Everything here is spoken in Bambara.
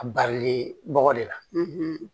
A barili bɔgɔ de la